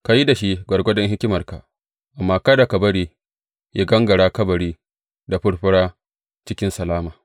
Ka yi da shi gwargwadon hikimarka, amma kada ka bari yă gangara kabari da furfura cikin salama.